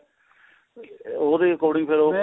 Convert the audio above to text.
ਉਹਦੇ according ਫੇਰ ਉਹ